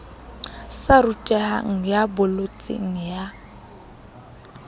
sa rutehang ya bolotseng ya